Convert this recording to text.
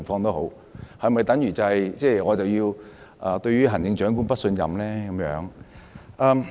縱使如此，是否便等於我要對行政長官投不信任票呢？